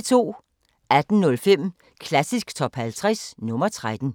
18:05: Klassisk Top 50 – nr. 13